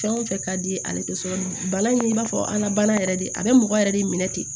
Fɛn o fɛn ka di ale tɛ so bana in i b'a fɔ an ka bana yɛrɛ de a bɛ mɔgɔ yɛrɛ de minɛ ten